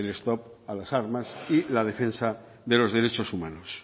stop a las armas y la defensa de los derechos humanos